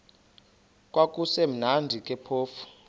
kwakusekumnandi ke phofu